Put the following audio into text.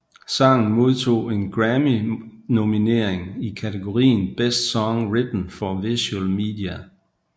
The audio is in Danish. Sangen modtog en Grammynominering i kategorien Best Song Written for Visual Media